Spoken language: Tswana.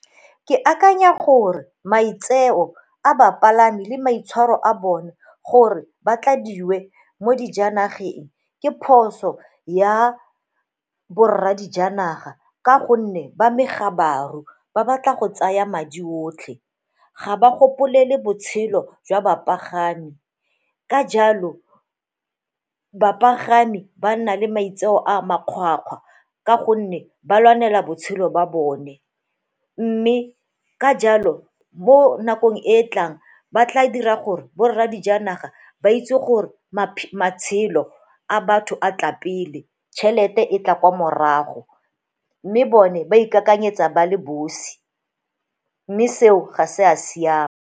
Ke akanya gore maitseo a bapalami le maitshwaro a bone gore ba tladiwe mo dijanageng ke phoso ya bo rra dijanaga ka gonne ba megabaru, ba batla go tsaya madi otlhe, ga ba gopolele botshelo jwa bapagami, ka jalo bapagami ba nna le maitseo a makgwakgwa ka gonne ba lwanela botshelo ba bone. Mme ka jalo mo nakong e e tlang ba tla dira gore bo rra dijanaga ba itse gore matshelo a batho a tla pele, tšhelete e tla kwa morago mme bone ba ipaakanyetsa ba le bosi mme seo ga se a siama.